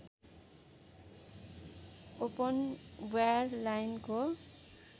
open wire लाइनको